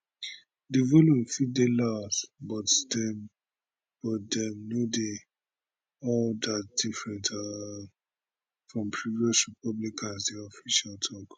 di volume fit dey loud but dem but dem no dey all dat different um from previous republicans di official tok